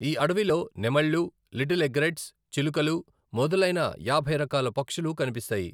ఈ అడవిలో నెమళ్లు, లిటిల్ ఎగ్రెట్స్, చిలుకలు మొదలైన యాభై రకాల పక్షులు కనిపిస్తాయి.